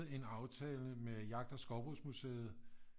En aftale med Jagt- og Skovbrugsmuseet